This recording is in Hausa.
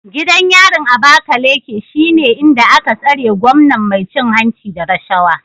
Gidan yarin Abakaleke shine inda aka tsare gwamnan mai cin hanci da rashawa